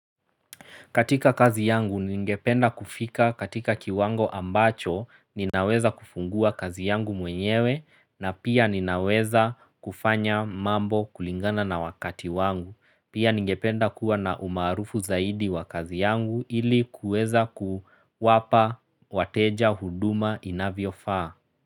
Katika kazi yangu ningependa kufika katika kiwango ambacho ninaweza kufungua kazi yangu mwenyewe na pia ninaweza kufanya mambo kulingana na wakati wangu. Pia ningependa kuwa na umaarufu zaidi wa kazi yangu ili kuweza kuwapa wateja huduma inavyo faa.